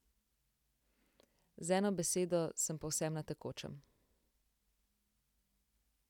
Z eno besedo, sem povsem na tekočem.